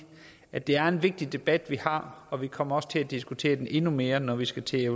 at det er en vigtig debat vi har og vi kommer også til at diskutere det endnu mere når vi skal til at